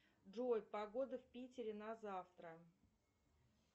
джой погода в питере на завтра